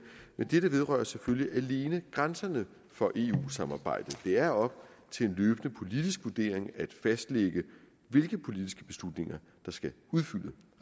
men dette vedrører selvfølgelig alene grænserne for eu samarbejdet det er op til en løbende politisk vurdering at fastlægge hvilke politiske beslutninger der skal udfylde